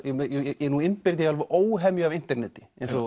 nú innbyrði ég alveg óhemju af interneti eins og